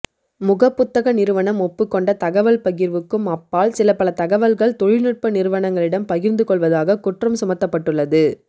முகப்புத்தக நிறுவனம் ஒப்புக் கொண்ட தகவல்பகிர்வுக்கும் அப்பால் சிலபல தகவல்கள் தொழில் நுட்ப நிறுவனங்களிடம் பகிர்ந்து கொள்வதாக குற்றம் சுமத்தப்பட்டுள்ளது